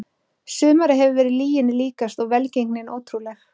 Sumarið hefur verið lyginni líkast og velgengnin ótrúleg.